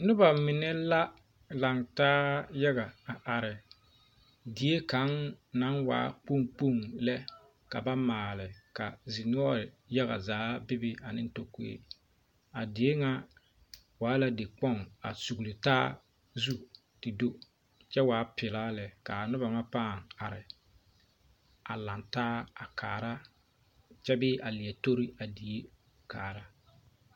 Noba ba mine la lantaa yaga a are die kaŋ naŋ waa kpoŋ kpoŋ lɛ ka ba maale ka dinoɔre yaga zaa be be ane tokogri a die ŋa waa la dikpoŋ a sugele taa te do kyɛ waa pelaa lɛ kaa noba paa are a lantaa a are kyɛ bee a leɛ tori a die kaara